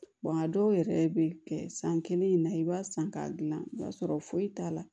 a dɔw yɛrɛ bɛ kɛ san kelen in na i b'a san k'a dilan i b'a sɔrɔ foyi t'a la